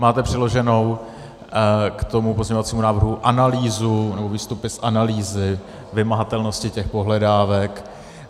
Máte přiloženou k tomu pozměňovacímu návrhu analýzu, nebo výstupy z analýzy vymahatelnosti těch pohledávek.